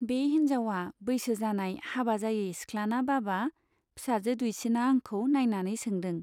बे हिन्जावा बैसो जानाय हाबा जायै सिख्लाना बाबा ? फिसाजो दुइसिना आंखौ नाइनानै सोंदों।